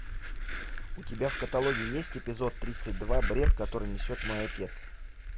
у тебя в каталоге есть эпизод тридцать два бред который несет мой отец